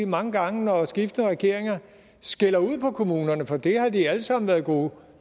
mange gange når skiftende regeringer skælder ud på kommunerne for det har de alle sammen været gode